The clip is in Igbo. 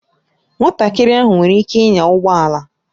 Nwatakịrị ahụ nwere ike ịnya ụgbọ ala